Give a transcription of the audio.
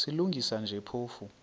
silungisa nje phofu